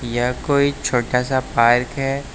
यह कोई छोटा सा पार्क है।